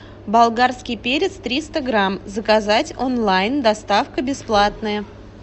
болгарский перец триста грамм заказать онлайн доставка бесплатная